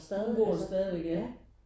Hun bor der stadigvæk ja